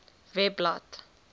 webblad